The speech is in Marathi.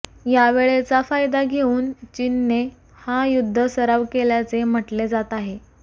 या वेळेचा फायदा घेऊन चीनने हा युद्ध सराव केल्याचे म्हटले जात आहे